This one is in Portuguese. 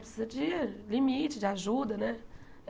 Precisa de limite, de ajuda, né?